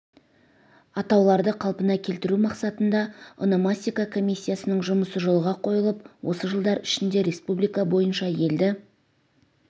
атауларды қалпына келтіру мақсатында ономастика комиссиясының жұмысы жолға қойылып осы жылдар ішінде республика бойынша елді